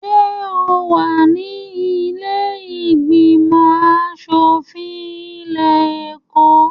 Ṣé o wà ní ilé ìgbìmọ̀-aṣòfin ilé-ẹ̀kọ́?